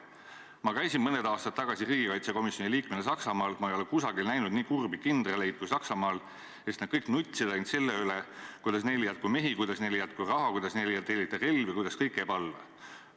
Ma käisin mõned aastad tagasi riigikaitsekomisjoni liikmena Saksamaal, ma ei ole kusagil näinud nii kurbi kindraleid, kui Saksamaal, sest nad kõik nutsid ainult selle üle, kuidas neil ei jätku mehi, kuidas neil ei jätku raha, kuidas neile ei tellita relvi, kuidas neil kõik käib alla.